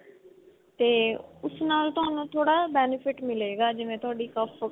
ਤੇ ਉਸ ਨਾਲ ਤੁਹਾਨੂੰ ਥੋੜਾ benefit ਮਿਲੇਗਾ ਜਿਵੇਂ ਤੁਹਾਡੀ